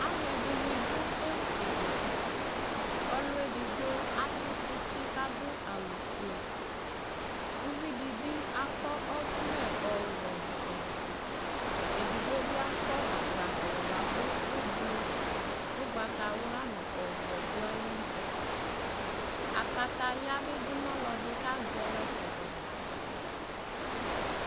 Alʋɛdɩnɩ dʋ ekualɛ : ɔlʋ edigbo atʋ tsitsi k'adʋ awʋfue ; uvidɩ bɩ akɔ ɔvlɛ ɔwɛ nʋ ofue , edigbo bɩ akɔ agbavlɛ bʋakʋ ʋblʋ , ʋgbatawla nʋ ɔvɛ dʋ ayili Kataya bɩ dʋ n'ɔlɔdɩ k'azɛ yɔ kɔdʋ